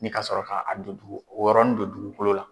N'i ka sɔrɔ ka a don dugu o yɔrɔnin don dugukolo la.